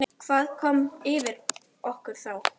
Hvað kom yfir okkur þá?